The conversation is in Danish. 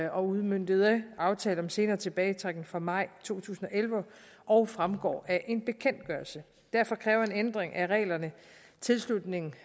og udmøntede aftalen om en senere tilbagetrækning fra maj to tusind og elleve og fremgår af en bekendtgørelse derfor kræver en ændring af reglerne tilslutning